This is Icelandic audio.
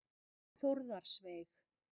Þórðarsveig